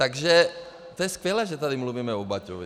Takže to je skvělé, že tady mluvíme o Baťovi.